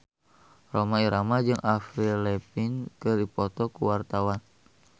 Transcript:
Rhoma Irama jeung Avril Lavigne keur dipoto ku wartawan